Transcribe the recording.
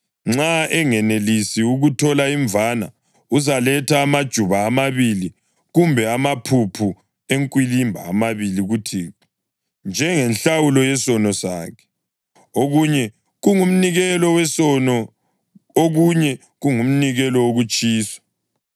Nxa engenelisi ukuthola imvana uzaletha amajuba amabili kumbe amaphuphu enkwilimba amabili kuThixo njengenhlawulo yesono sakhe, okunye kungumnikelo wesono, okunye kungumnikelo wokutshiswa.